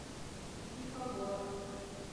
пифагор